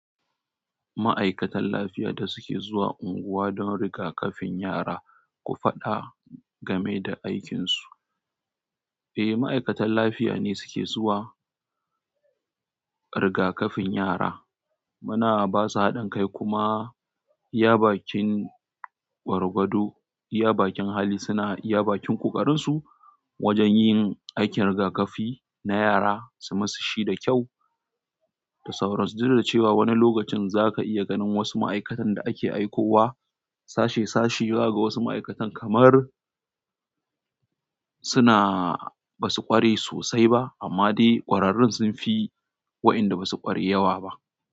Ma'aikatan lafiya da suke zuwa unguwa don rigakafin yara, ku faɗa game da aikinsu. Eh, ma'aikatan lafiya ne suke zuwa rigakafin yara. Muna ba su haɗin kai kuma iya bakin gwargwado, iya bakin hali suna iya bakin ƙoƙarin su wajen yin aikin rigakafi na yara su musu shi da kyau da sauran su. Duk da cewa wani lokacin zaka iya ganin wasu ma'aikatan da ake aikowa sashi, sahi, zakaga wasu ma'aikatan kamar suna ba su ƙware sosai ba amma dai ƙwararrun sun fi waɗanda ba su ƙware yawa ba.